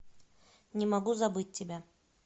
не могу забыть тебя